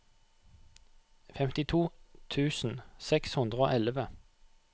femtito tusen seks hundre og elleve